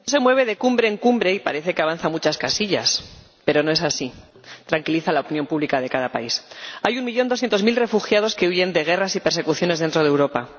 Señor Presidente, el Consejo se mueve de cumbre en cumbre y parece que avanza muchas casillas, pero no es así. Tranquiliza a la opinión pública de cada país. Hay un millón doscientos mil refugiados que huyen de guerras y persecuciones dentro de Europa.